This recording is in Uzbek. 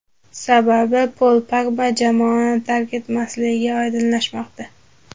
Sababi Pol Pogba jamoani tark etmasligi oydinlashmoqda.